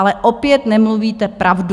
Ale opět nemluvíte pravdu.